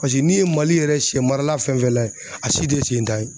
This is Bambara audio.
Paseke n'i ye Mali yɛrɛ shɛ marala fɛn fɛn layɛ, a si tɛ sen tan ye.